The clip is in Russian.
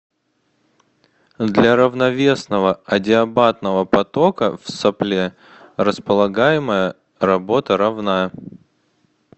для равновесного адиабатного потока в сопле располагаемая работа равна